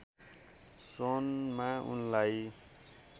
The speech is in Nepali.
सन् मा उनलाई